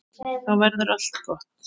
Þá verður allt gott.